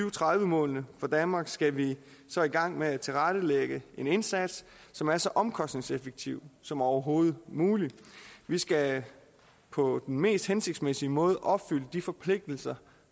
og tredive målene for danmark skal vi så i gang med at tilrettelægge en indsats som er så omkostningseffektiv som overhovedet muligt vi skal på den mest hensigtsmæssige måde opfylde de forpligtelser